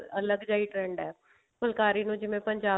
ਅਲੱਗ ਜਿਹਾ ਹੀ trend ਹੈ ਫੁਲਕਾਰੀ ਨੂੰ ਜਿਵੇਂ ਪੰਜਾਬ